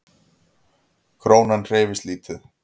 Krónan hreyfist lítið